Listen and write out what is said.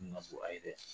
ka bon a ye dɛ